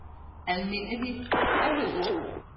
almindelig